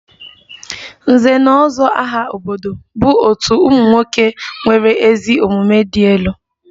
Nze na ozo aha obodo bụ otu ụmụ nwoke nwere ezi omumue di elu